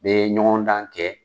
U bɛ ɲɔgɔn dan kɛ.